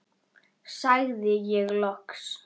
sagði ég loks.